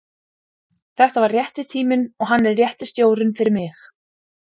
Þetta var rétti tíminn og hann er rétti stjórinn fyrir mig.